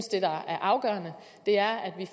det der er afgørende er at vi